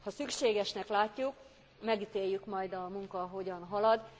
Ha szükségesnek látjuk, megítéljük majd, a munka hogyan halad.